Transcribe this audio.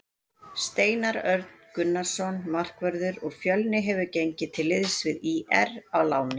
Steinar Örn Gunnarsson markvörður úr Fjölni hefur gengið til liðs við ÍR á láni.